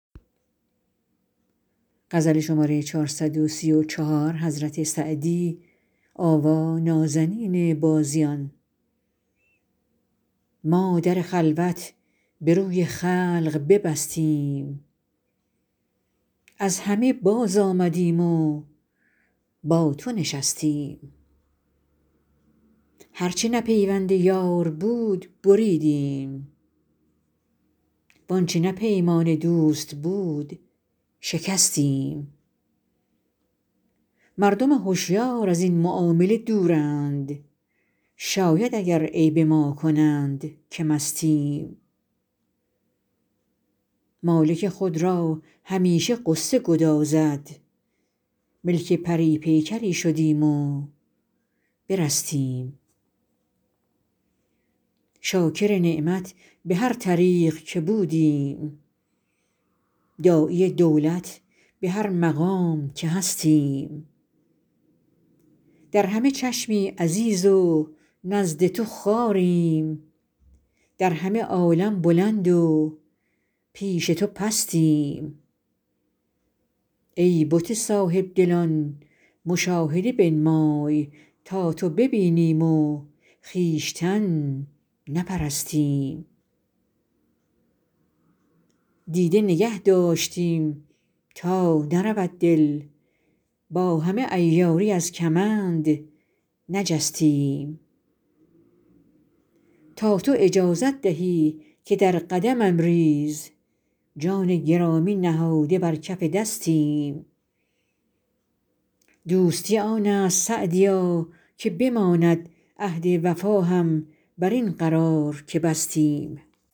ما در خلوت به روی خلق ببستیم از همه بازآمدیم و با تو نشستیم هر چه نه پیوند یار بود بریدیم وآنچه نه پیمان دوست بود شکستیم مردم هشیار از این معامله دورند شاید اگر عیب ما کنند که مستیم مالک خود را همیشه غصه گدازد ملک پری پیکری شدیم و برستیم شاکر نعمت به هر طریق که بودیم داعی دولت به هر مقام که هستیم در همه چشمی عزیز و نزد تو خواریم در همه عالم بلند و پیش تو پستیم ای بت صاحب دلان مشاهده بنمای تا تو ببینیم و خویشتن نپرستیم دیده نگه داشتیم تا نرود دل با همه عیاری از کمند نجستیم تا تو اجازت دهی که در قدمم ریز جان گرامی نهاده بر کف دستیم دوستی آن است سعدیا که بماند عهد وفا هم بر این قرار که بستیم